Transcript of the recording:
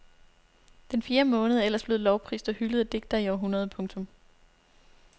Den fjerde måned er ellers blevet lovprist og hyldet af digtere i århundreder. punktum